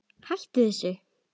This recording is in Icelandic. Hættu þessu!